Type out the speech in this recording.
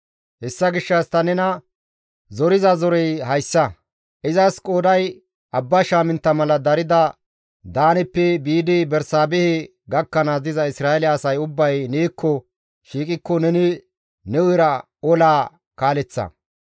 «Hessa gishshas ta nena zoriza zorey hayssa; izas qooday abba shaamintta mala darida Daaneppe biidi Bersaabehe gakkanaas diza Isra7eele asay ubbay neekko shiiqikko neni ne hu7era olaa kaaleththa.